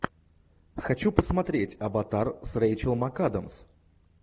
хочу посмотреть аватар с рэйчел макадамс